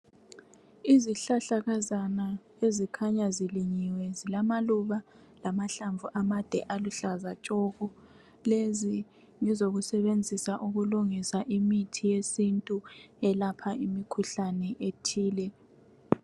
Izihlahlakazana ezikhanya zilinyiwe zilamaluba lamahlamvu amade aluhlaza tshoko. Lezi ngezokusebenzisa ukulungisa imithi yesintu elapha imikhuhlane ethile.